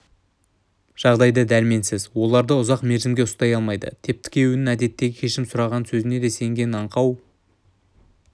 жағдайда дәрменсіз оларды ұзақ мерзімге ұстай алмайды тіпті күйеуінің әдеттегі кешірім сұраған сөзіне сенгеен аңқау